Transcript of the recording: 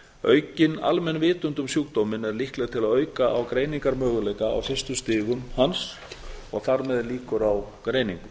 aukin almenn vitund um sjúkdóminn er líkleg til að auka greiningarmöguleika á fyrstu stigum hans og þar með líkur á greiningu